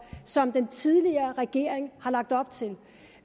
som den tidligere regering har lagt op til